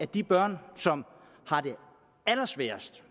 de børn som har det allersværest